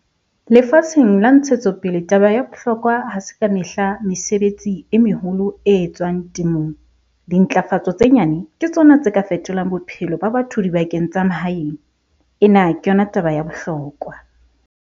Lefatsheng la ntshetsopele taba ya bohlokwa ha se ka mehla mesebetsi e meholo e etswang temong...dintlafatso tse nyane ke tsona tse ka fetolang bophelo ba batho dibakeng tsa mahaeng - ena ke yona taba ya bohlokwa!